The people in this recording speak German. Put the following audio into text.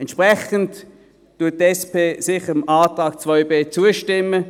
Deshalb stimmt die SP dem Antrag 2b sicher zu.